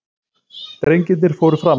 Drengirnir fóru fram.